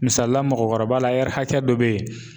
Misalila mɔgɔkɔrɔba la hakɛ dɔ be yen